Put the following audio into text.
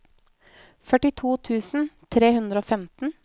førtito tusen tre hundre og femten